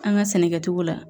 An ka sɛnɛkɛcogo la